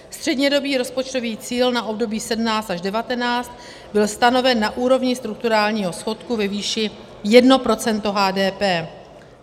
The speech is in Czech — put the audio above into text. Střednědobý rozpočtový cíl na období 2017 až 2019 byl stanoven na úrovni strukturálního schodku ve výši 1 % HDP.